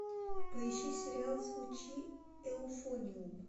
поищи сериал звучи эуфониум